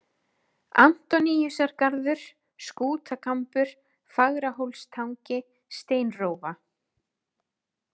Antoníusargarður, Skútakambur, Fagrahólstangi, Steinrófa